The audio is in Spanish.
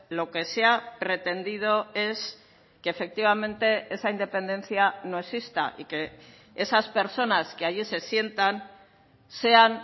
lo que se ha pretendido es que efectivamente esa independencia no exista y que esas personas que allí se sientan sean